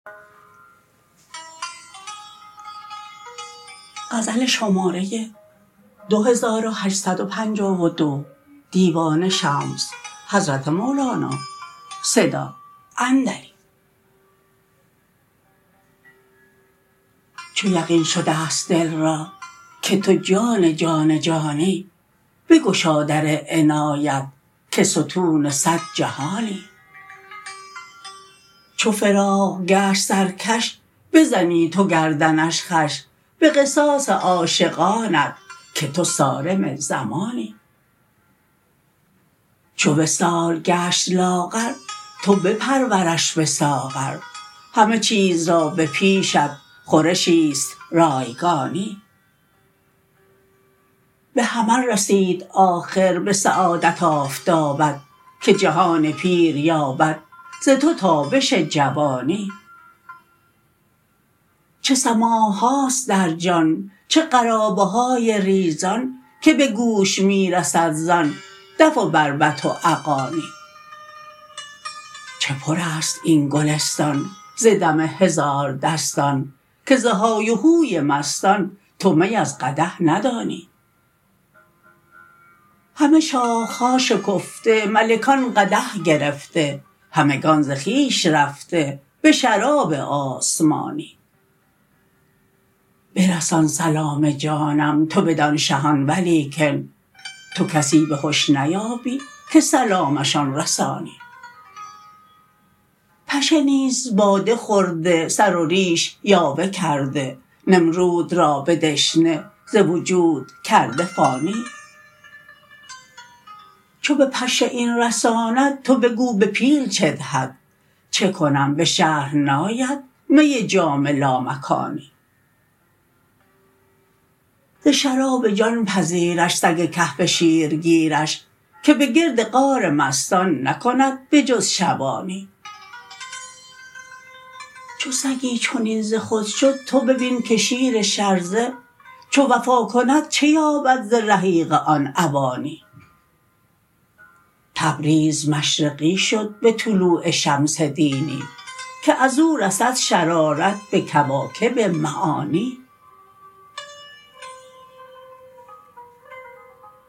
چو یقین شده ست دل را که تو جان جان جانی بگشا در عنایت که ستون صد جهانی چو فراق گشت سرکش بزنی تو گردنش خوش به قصاص عاشقانت که تو صارم زمانی چو وصال گشت لاغر تو بپرورش به ساغر همه چیز را به پیشت خورشی است رایگانی به حمل رسید آخر به سعادت آفتابت که جهان پیر یابد ز تو تابش جوانی چه سماع هاست در جان چه قرابه های ریزان که به گوش می رسد زان دف و بربط و اغانی چه پر است این گلستان ز دم هزاردستان که ز های و هوی مستان تو می از قدح ندانی همه شاخه ها شکفته ملکان قدح گرفته همگان ز خویش رفته به شراب آسمانی برسان سلام جانم تو بدان شهان ولیکن تو کسی به هش نیابی که سلامشان رسانی پشه نیز باده خورده سر و ریش یاوه کرده نمرود را به دشنه ز وجود کرده فانی چو به پشه این رساند تو بگو به پیل چه دهد چه کنم به شرح ناید می جام لامکانی ز شراب جان پذیرش سگ کهف شیرگیرش که به گرد غار مستان نکند به جز شبانی چو سگی چنین ز خود شد تو ببین که شیر شرزه چو وفا کند چه یابد ز رحیق آن اوانی تبریز مشرقی شد به طلوع شمس دینی که از او رسد شرارت به کواکب معانی